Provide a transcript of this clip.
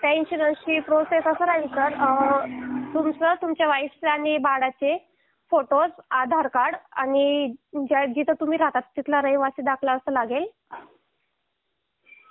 त्या इन्शुरन्स ची प्रोसेस अशी राहील सर तुमचं तुमच्या वाइफ चा आणि बाळाचे फोटोज आधार कार्ड आणि तुम्ही जिथे राहतात तिथला रहिवासी दाखला असं लागेल